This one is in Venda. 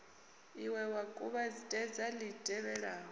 ie wa kuvhatedza li tevhelaho